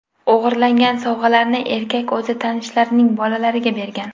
O‘g‘irlangan sovg‘alarni erkak o‘z tanishlarining bolalariga bergan.